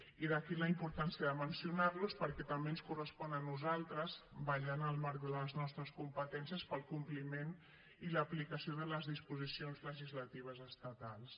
i d’aquí la importància de mencionar los perquè també ens correspon a nosaltres vetllar en el marc de les nostres competències pel compliment i l’aplicació de les disposicions legislatives estatals